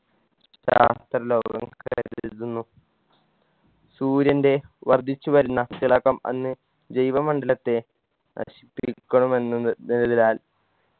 ശാസ്ത്രലോകം കരുതുന്നു സൂര്യൻറെ വർധിച്ചു വരുന്ന തിളക്കം അന്ന് ജൈവ മണ്ഡലത്തെ നശിപ്പിക്കണമെന്നത് എന്നതിനാൽ